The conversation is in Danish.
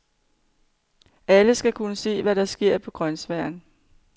Alle skal kunne se, hvad der sker på grønsværen.